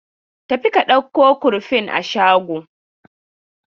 Tafi ka ɗauko kurfin a shago!